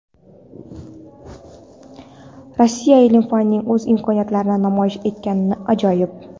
Rossiya ilm-fanining o‘z imkoniyatlarini namoyish etgani ajoyib.